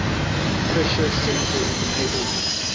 pressure sensors enabled